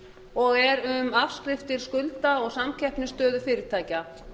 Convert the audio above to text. og er um afskriftir skulda og samkeppnisstöðu fyrirtækja